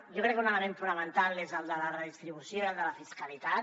jo crec que un element fonamental és el de la redistribució i el de la fiscalitat